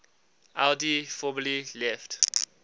audi formally left